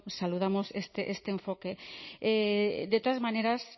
saludamos este enfoque de todas maneras